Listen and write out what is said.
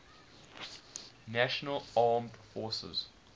national armed forces